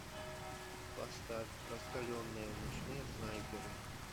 поставь раскаленные ночные снайперы